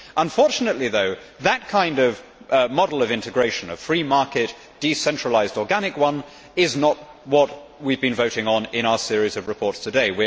Unfortunately, though, that kind of model of integration a free market, decentralised, organic one is not what we have been voting on in our series of reports today.